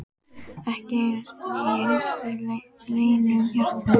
Ekki einu sinni í innstu leynum hjartans!